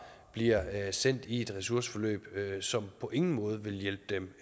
bliver sendt i et ressourceforløb som på ingen måde vil hjælpe dem